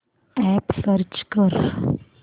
app search कर